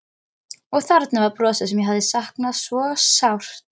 Og þarna var brosið sem ég hafði saknað svo sárt.